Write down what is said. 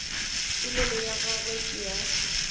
polelo ya gagwe ke ya